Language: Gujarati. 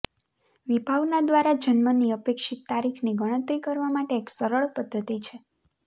વિભાવના દ્વારા જન્મની અપેક્ષિત તારીખની ગણતરી કરવા માટે એક સરળ પદ્ધતિ છે